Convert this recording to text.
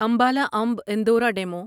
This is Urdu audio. امبالا امب اندورا ڈیمو